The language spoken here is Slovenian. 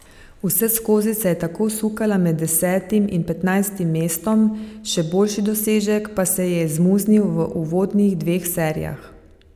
Vseskozi se je tako sukala med desetim in petnajstim mestom, še boljši dosežek pa se ji je izmuznil v uvodnih dveh serijah.